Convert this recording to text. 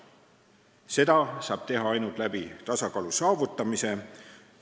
Seda saab teha ainult tasakaalu saavutamise abil.